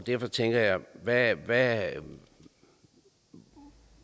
derfor tænker jeg på hvad hvad